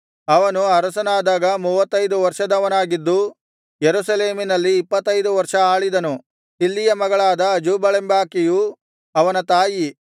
ಅವನು ಅರಸನಾದಾಗ ಮೂವತ್ತೈದು ವರ್ಷದವನಾಗಿದ್ದು ಯೆರೂಸಲೇಮಿನಲ್ಲಿ ಇಪ್ಪತ್ತೈದು ವರ್ಷ ಆಳಿದನು ಶಿಲ್ಹಿಯ ಮಗಳಾದ ಅಜೂಬಳೆಂಬಾಕೆಯು ಅವನ ತಾಯಿ